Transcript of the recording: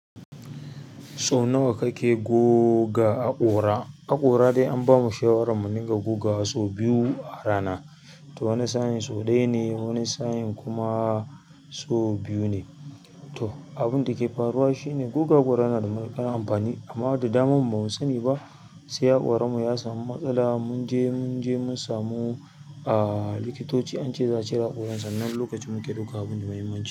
So nawa kake goga haƙora? Haƙora dai an bamu shawarar mu dinga gogawa sau biyu a rana. To wani sa in so ɗaya ne, wani sa in kuma so biyu ne. To abin da ke faruwa shine guga haƙora yana da matuƙar amfani amma da damammu ba mu sani ba sai haƙoran mu ya samu matsala. Mun je mun je mun samu ah likitoci an ce za cire haƙoran sannan nan lokacin mu ke ɗaukan abun da mahimmanci.